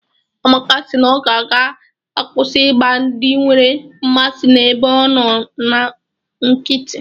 Amaka si na ọ ga-akwụsị igba ndị nwere mmasị n'ebe ọ nọ nkítí